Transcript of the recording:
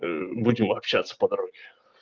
будем общаться по дороге